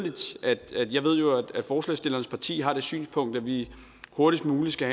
at forslagsstillernes parti har det synspunkt at vi hurtigst muligt skal